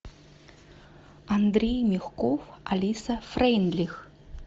андрей мягков алиса фрейндлих